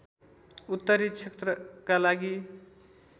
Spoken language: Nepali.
उत्तरी क्षेत्रका लागि